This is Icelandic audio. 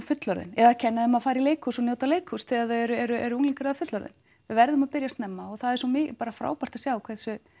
fullorðin eða kenna þeim að fara í leikhús og njóta leikhúss þegar þau eru eru eru unglingar eða fullorðin við verðum að byrja snemma og það er svo bara frábært að sjá hversu